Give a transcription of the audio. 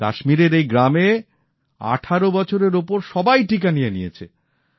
কাশ্মীরের এই গ্রামে ১৮ বছরের ওপরের সবাই টীকা নিয়ে নিয়েছে